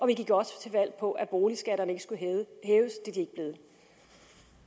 vi gik også til valg på at boligskatterne ikke skulle hæves